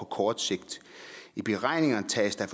kort sigt i beregningen tages der